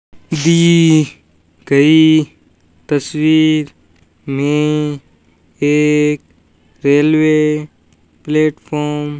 दी गई तस्वीर में एक रेलवे प्लेटफार्म --